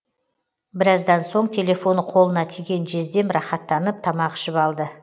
біраздан соң телефоны қолына тиген жездем рахаттанып тамақ ішіп алды